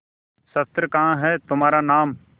शस्त्र कहाँ है तुम्हारा नाम